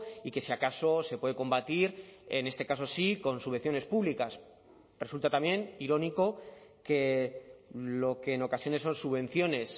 y que si acaso se puede combatir en este caso sí con subvenciones públicas resulta también irónico que lo que en ocasiones son subvenciones